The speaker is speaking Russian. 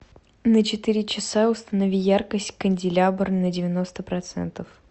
на четыре часа установи яркость канделябр на девяносто процентов